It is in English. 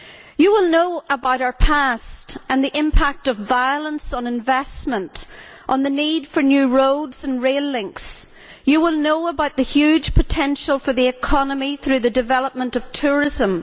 You will know about our past the impact of violence on investment, and the need for new roads and rail links. You will know about the huge potential for the economy through the development of tourism.